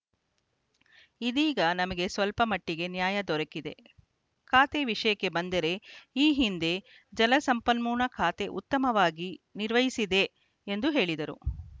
ಇದೀಗ ನಮಗೆ ಸ್ವಲ್ಪ ಮಟ್ಟಿಗೆ ನ್ಯಾಯ ದೊರಕಿದೆ ಖಾತೆ ವಿಷಯಕ್ಕೆ ಬಂದರೆ ಈ ಹಿಂದೆ ಜಲಸಂಪನ್ಮೂಲ ಖಾತೆ ಉತ್ತಮವಾಗಿ ನಿರ್ವಹಿಸಿದೆ ಎಂದು ಹೇಳಿದರು